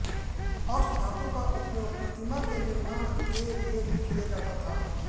अष्टधातु का उपयोग प्रतिमा के निर्माण के लिए भी किया जाता था